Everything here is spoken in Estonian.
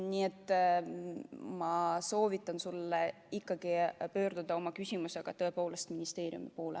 Nii et ma soovitan sul ikkagi pöörduda oma küsimusega tõepoolest ministeeriumi poole.